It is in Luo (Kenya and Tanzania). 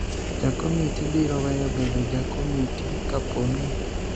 ja komiti biro weyo bedo ja komiti kapo ni